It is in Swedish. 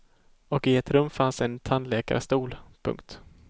Och i ett rum fanns en tandläkarstol. punkt